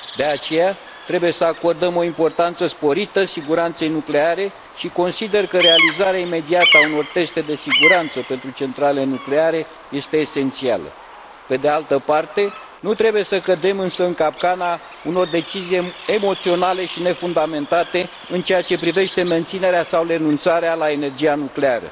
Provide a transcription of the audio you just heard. De aceea, trebuie să acordăm o importanță sporită siguranței nucleare și consider că realizarea imediată a unor teste de siguranță pentru centralele nucleare este esențială. Pe de altă parte, nu trebuie să cădem însă în capcana unor decizii emoționale și nefundamentate în ceea ce privește menținerea sau renunțarea la energia nucleară.